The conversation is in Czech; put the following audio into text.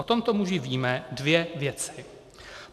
O tomto muži víme dvě věci.